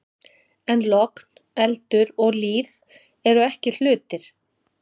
En logn, eldur og líf eru ekki hlutir.